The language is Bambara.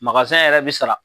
yɛrɛ bi sara